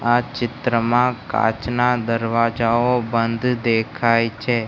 આ ચિત્રમાં કાચના દરવાજાઓ બંધ દેખાય છે.